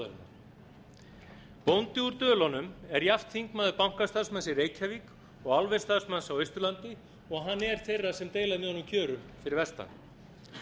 þjóðarinnar bóndi úr dölunum er jafnt þingmaður bankastarfsmanns í reykjavík og álversstarfsmanns á austurlandi og hann er þeirra sem deila með honum kjörum fyrir vestan